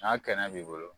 N'a kɛnɛ b'i bolo